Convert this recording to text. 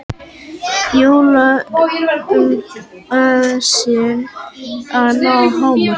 Jólaösin að ná hámarki